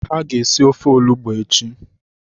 Ha ga esi ofe olugbu echi.